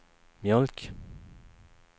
mjölk